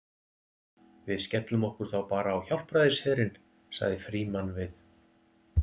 Við skellum okkur þá bara á Hjálpræðisherinn sagði Frímann við